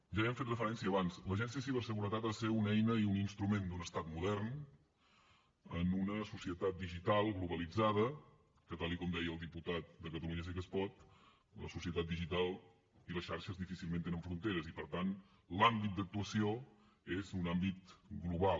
ja hi hem fet referència abans l’agència de ciberseguretat ha de ser una eina i un instrument d’un estat modern en una societat digital globalitzada que tal com deia el diputat de catalunya sí que es pot la societat digital i les xarxes difícilment tenen fronteres i per tant l’àmbit d’actuació és un àmbit global